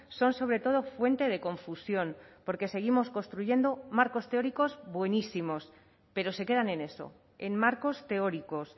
son sobre todo fuente de confusión porque seguimos construyendo marcos teóricos buenísimos pero se quedan en eso en marcos teóricos